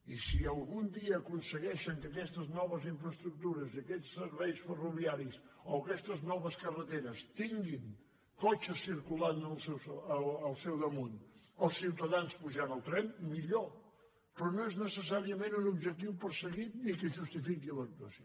i si algun dia aconsegueixen que aquestes noves infraestructures aquests serveis ferroviaris o aquestes noves carreteres tinguin cotxes circulat al seu damunt o ciutadans pujant al tren millor però no és necessàriament un objectiu perseguit ni que justifiqui l’actuació